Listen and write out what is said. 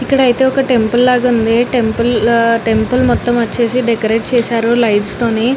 ఇక్కడ అయితే వక టెంపుల్ లాగా ఉంది. టెంపుల్ టెంపుల్ మొత్తం వచ్చేసి డెకరెట్ చేసారు లైట్ థోని.